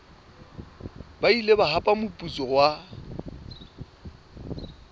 ile ba hapa moputso wa